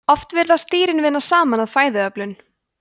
oft virðast dýrin vinna saman að fæðuöflun